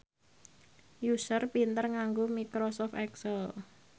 Usher pinter nganggo microsoft excel